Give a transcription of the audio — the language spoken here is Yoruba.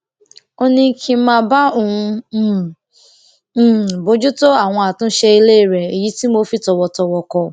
ó ní kí n máa bá òun um um bójútó àwọn àtúnṣe ilé rẹ èyí tí mo fi tòwòtòwò kọ